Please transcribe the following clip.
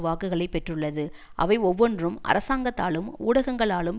வாக்குகளை பெற்றுள்ளது அவை ஒவ்வொன்றும் அரசாங்கத்தாலும் ஊடகங்களாலும்